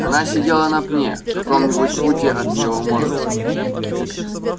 она сидела на пне в каком нибудь футе от его морды